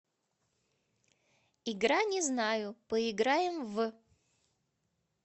игра не знаю поиграем в